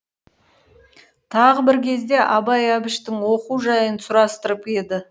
тағы бір кезде абай әбіштің оқу жайын сұрастырып еді